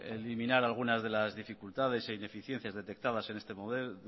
eliminar algunas de las dificultades e ineficiencias detectadas